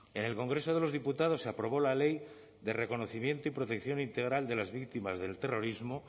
en el congreso de los diputados se aprobó la ley de reconocimiento y protección integral de las víctimas del terrorismo